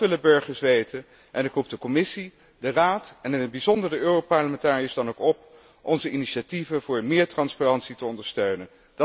Dat willen burgers weten en ik roep de Commissie, de Raad en in het bijzonder de europarlementariërs dan ook op onze initiatieven voor meer transparantie te ondersteunen.